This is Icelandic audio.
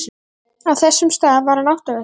Á þessum stað var hann áttavilltur.